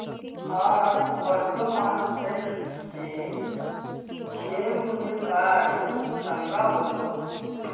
आज वर्धमान टेक्स्ट चे शेअर मूल्य काय आहे सांगा बरं